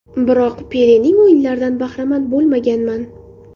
Biroq, Pelening o‘yinlaridan bahramand bo‘lmaganman.